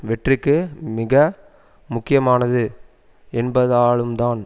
வெற்றிக்கு மிக முக்கியமானது என்பதாலும்தான்